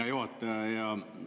Hea juhataja!